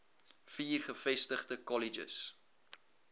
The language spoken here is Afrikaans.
vier gevestigde kolleges